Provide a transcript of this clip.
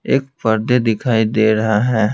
एक पर्दे दिखाई दे रहा है।